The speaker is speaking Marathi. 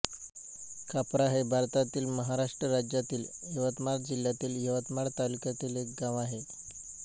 कापरा हे भारतातील महाराष्ट्र राज्यातील यवतमाळ जिल्ह्यातील यवतमाळ तालुक्यातील एक गाव आहे